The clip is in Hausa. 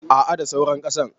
a a da saura kasan